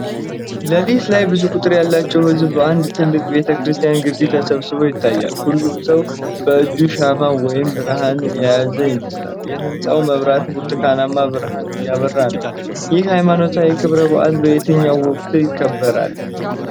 ሌሊት ላይ ብዙ ቁጥር ያለው ሕዝብ በአንድ ትልቅ ቤተ ክርስቲያን ግቢ ተሰብስቦ ይታያል። ሁሉም ሰው በእጁ ሻማ ወይም ብርሃን የያዘ ይመስላል። የህንጻው መብራት ብርቱካናማ ብርሃን እያበራ ነው። ይህ ሃይማኖታዊ ክብረ በዓል በየትኛው ወቅት ይከበራል?